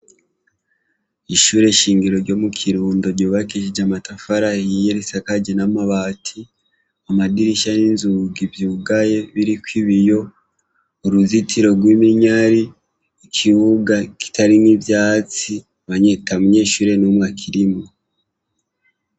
Ishure shingiro ryo mu Kirundo ryubakishije amatafari ahiye risakajwe n'amabati, amadirisha n'inzugi vyugaye biriko ibiyo. Uruzitiro rw'umunyare. Ikibuga kitarimwo ivyatsi ata munyeshure numwe akirimwo.